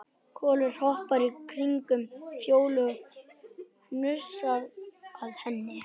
Kolur hoppar í kringum Fjólu og hnusar að henni.